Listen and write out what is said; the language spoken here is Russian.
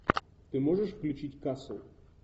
ты можешь включить касл